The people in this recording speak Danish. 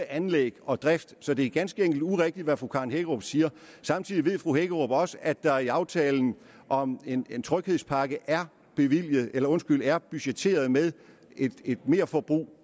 anlæg og drift så det er ganske enkelt urigtigt hvad fru karen hækkerup siger samtidig ved fru hækkerup også at der i aftalen om en tryghedspakke er er budgetteret med et merforbrug